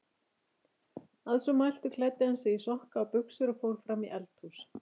Að svo mæltu klæddi hann sig í sokka og buxur og fór fram í eldhús.